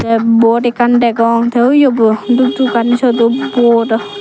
te board ekkan degong te uyo bo dhub dhub gani sut u board.